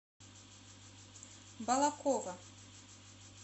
балаково